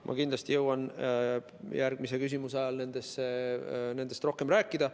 Ma kindlasti jõuan järgmise küsimuse vastuse ajal nendest rohkem rääkida.